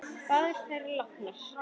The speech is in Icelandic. Báðar eru þær látnar.